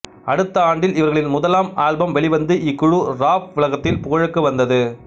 அடுத்த ஆண்டில் இவர்களின் முதலாம் ஆல்பம் வெளிவந்து இக்குழு ராப் உலகத்தில் புகழுக்கு வந்தது